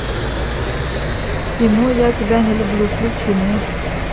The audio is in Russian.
кино я тебя не люблю включи мне